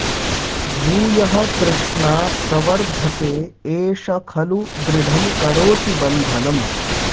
भूयः तृष्णा प्रवर्द्धते एष खलु दृढं करोति बन्धनम्